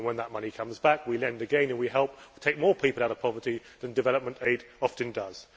When that money comes back, we lend again and we help take more people out of poverty than development aid often does.